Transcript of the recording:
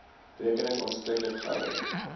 rekening aanspreeklik gehou